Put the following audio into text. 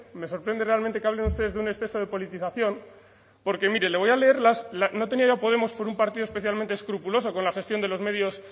me sorprende realmente que hablen ustedes de un exceso de politización porque mire le voy a leer las no tenía yo a podemos por un partido especialmente escrupuloso con la gestión de los medios